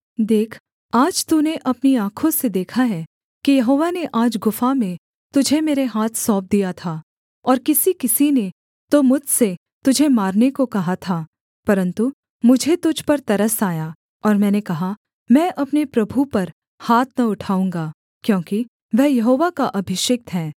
देख आज तूने अपनी आँखों से देखा है कि यहोवा ने आज गुफा में तुझे मेरे हाथ सौंप दिया था और किसी किसी ने तो मुझसे तुझे मारने को कहा था परन्तु मुझे तुझ पर तरस आया और मैंने कहा मैं अपने प्रभु पर हाथ न उठाऊँगा क्योंकि वह यहोवा का अभिषिक्त है